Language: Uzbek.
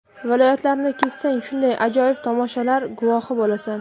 Viloyatlarni kezsang, shunday ajoyib tomoshalar guvohi bo‘lasan.